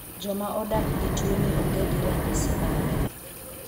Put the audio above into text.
Joma odak gi tuoni onge gi ranyisi mare.